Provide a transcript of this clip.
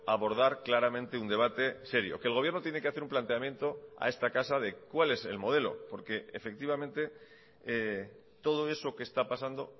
abordar claramente un debate serio que el gobierno tiene que hacer un planteamiento a esta casa de cuál es el modelo porque efectivamente todo eso que está pasando